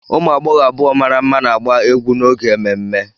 Ụmụ agbọghọ abụọ mara mma na-agba egwu n'oge ememme.